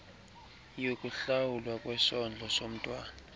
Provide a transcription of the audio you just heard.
yokuhlawulwa kwesondlo somntwana